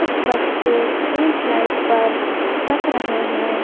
कुछ बच्चे इन स्लइड पर खिसक रहे हैं।